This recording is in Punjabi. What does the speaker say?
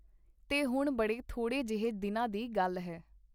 ਤੇ ਹੁਣ-ਬੜੇ ਥੋੜ੍ਹੇ ਜਿਹੇ ਦਿਨਾਂ ਦੀ ਗੱਲ ਹੈ.